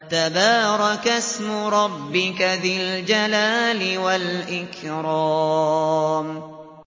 تَبَارَكَ اسْمُ رَبِّكَ ذِي الْجَلَالِ وَالْإِكْرَامِ